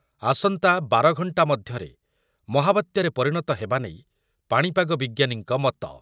ଆସନ୍ତା ବାର ଘଣ୍ଟା ମଧ୍ୟରେ ମହାବାତ୍ୟାରେ ପରିଣତ ହେବା ନେଇ ପାଣିପାଗ ବିଜ୍ଞାନୀଙ୍କ ମତ ।